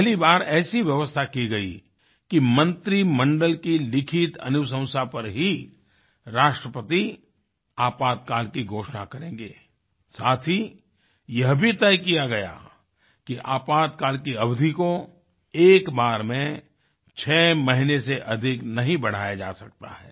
पहली बार ऐसी व्यवस्था की गई कि मंत्रिमंडल की लिखित अनुशंसा पर ही राष्ट्रपति आपातकाल की घोषणा करेंगे साथ ही यह भी तय किया गया कि आपातकाल की अवधि को एक बार में छः महीने से अधिक नहीं बढ़ाया जा सकता है